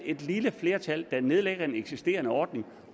et lille flertal der nedlægger en eksisterende ordning